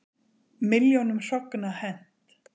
Milljónum hrogna hent